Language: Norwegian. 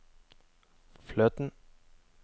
fløten